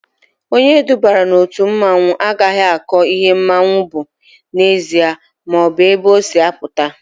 Onye edubara n'otu mmanwụ agaghị akọ ihe mmanwụ bụ n'ezie maọbụ ebe o si apụta